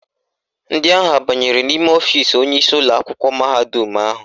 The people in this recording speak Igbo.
Ndị ahụ abanyere n'ime ọfisi onyeisi ụlọakwụkwọ mahadum ahụ?